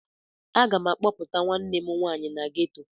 A ga m a kpọpụta nwanne m nwanyị na ghetọ.